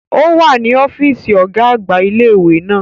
O wa ni ọfiisi ọga-agba ile-iwe naa.